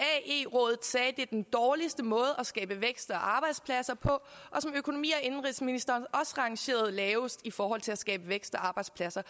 det var den dårligste måde at skabe vækst og arbejdspladser på og økonomi og indenrigsministeren rangerede lavest i forhold til at skabe vækst og arbejdspladser